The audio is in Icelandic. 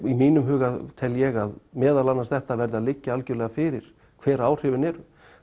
í mínum huga tel ég að þetta verði að liggja algjörlega fyrir hver áhrifin eru